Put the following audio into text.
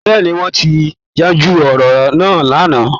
Bẹ́ẹ̀` ni, wọ́n ti yanjú ọ̀rọ̀ náà lánàá